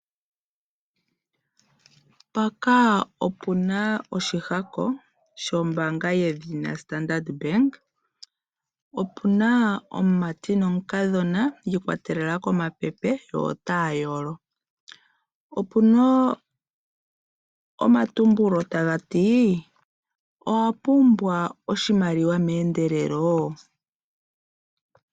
Mpaka opu na oshihako shombaanga yedhina Standard Bank. Opu na omumati nomukadhona yi ikwatelela komapepe yo otaya yolo. Opu naomatumbulo taga ti :" owa pumbwa oshimaliwa meendelelo?